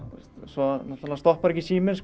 svo stoppar síminn